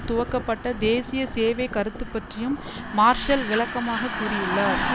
துவக்கப்பட்ட தேசிய சேவை கருத்து பற்றியும் மார்ஷல் விளக்கமாகக் கூறியுள்ளார்